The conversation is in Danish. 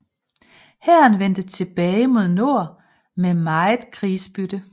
Hæren vendte tilbage mod nord med megen krigsbytte